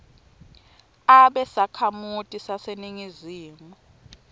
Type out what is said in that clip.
abe sakhamuti saseningizimu